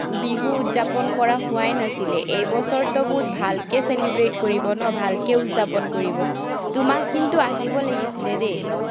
বিহু উতযাপন কৰা হোৱাই নাছিলে, এই বছৰতো বহুত ভালকে celebrate কৰিব ন, ভালকে উতযাপন কৰিব। তোমাক কিন্তু আহিব লাগিছিলে দেই।